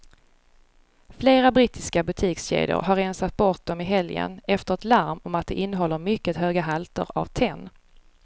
Flera brittiska butikskedjor har rensat bort dem i helgen efter ett larm om att de innehåller mycket höga halter av tenn.